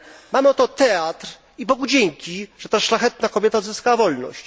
Mamy oto teatr i Bogu dzięki, że ta szlachetna kobieta odzyskała wolność.